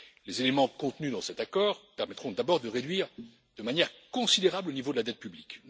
Les éléments contenus dans cet accord permettront d'abord de réduire de manière considérable le niveau de la dette publique.